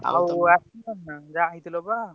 ଆଉ ଆସି